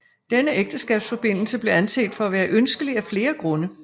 Denne ægteskabsforbindelse blev anset for at være ønskelig af flere grunde